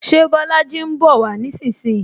Ṣé Bolaji ń bowa nísinsìnyí?